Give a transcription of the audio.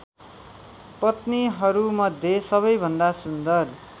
पत्नीहरूमध्ये सबैभन्दा सुन्दर